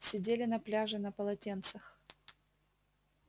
сидели на пляже на полотенцах